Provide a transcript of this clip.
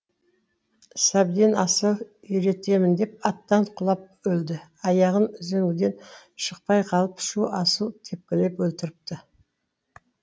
сәбден асау үйретемін деп аттан құлап өлді аяғы үзеңгіден шықпай қалып шу асау тепкілеп өлтіріпті